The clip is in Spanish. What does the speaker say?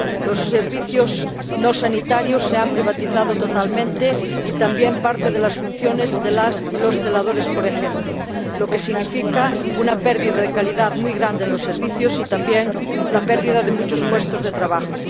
Los servicios no sanitarios se han privatizado totalmente y también parte de las funciones de celadores y celadoras, por ejemplo, lo que significa una pérdida de calidad muy grande en los servicios y, también, la pérdida de muchos puestos de trabajo.